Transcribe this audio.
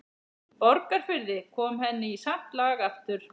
Borgarfirði, kom henni í samt lag aftur.